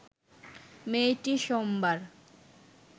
মেয়েটি সোমবার